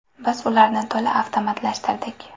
Biz ularni to‘la avtomatlashtirdik.